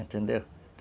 Entendeu?